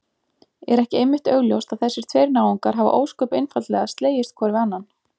Er ekki einmitt augljóst að þessir tveir náungar hafa ósköp einfaldlega slegist hvor við annan?